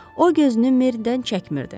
O gözünü Meridən çəkmirdi.